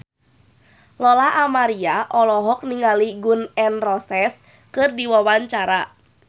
Lola Amaria olohok ningali Gun N Roses keur diwawancara